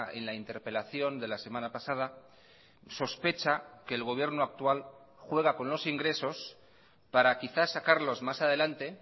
en la interpelación de la semana pasada sospecha que el gobierno actual juega con los ingresos para quizás sacarlos más adelante